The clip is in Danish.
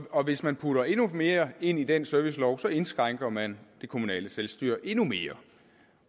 og hvis man putter endnu mere ind i den servicelov indskrænker man det kommunale selvstyre endnu mere